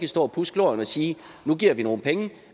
stå og pudse glorien og sige nu giver vi nogle penge